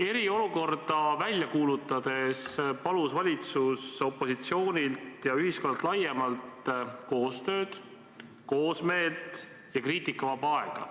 Eriolukorda välja kuulutades palus valitsus opositsioonilt ja ühiskonnalt laiemalt koostööd, koosmeelt ja kriitikavaba aega.